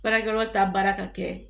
Baarakɛyɔrɔ ta baara ka kɛ